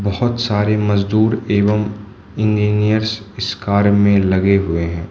बहोत सारे मजदूर एवं इंजीनियर्स इस कार्य में लगे हुए हैं।